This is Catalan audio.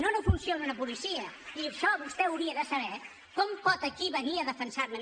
ciona una policia i això vostè ho hauria de saber com pot aquí venir a defensar me